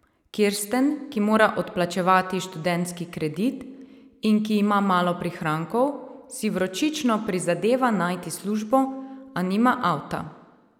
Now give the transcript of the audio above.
Kirsten, ki mora odplačevati študentski kredit in ki ima malo prihrankov, si vročično prizadeva najti službo, a nima avta.